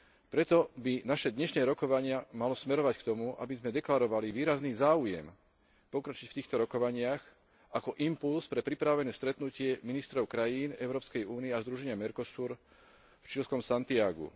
Preto by naše dnešné rokovanie malo smerovať k tomu, aby sme deklarovali výrazný záujem pokročiť v týchto rokovaniach ako impulz pre pripravované stretnutie ministrov krajín Európskej únie a združenia Mercosur v čílskom Santiagu.